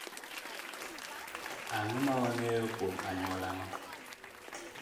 Ang’o ma wang’eyo kuom anyuolano?